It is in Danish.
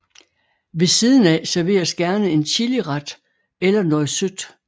Ved siden af serveres gerne en chiliret eller noget sødt